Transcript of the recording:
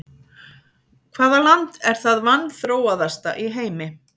Hvaða land er það vanþróaðasta í heimi?